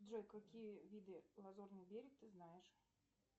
джой какие виды лазурный берег ты знаешь